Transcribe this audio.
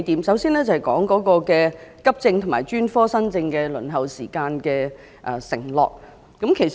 首先，我想談談為急症和專科新症的輪候時間制訂服務承諾。